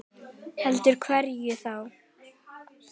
Heldur hverjum þá?